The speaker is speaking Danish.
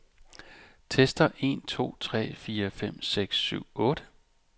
Tester en to tre fire fem seks syv otte.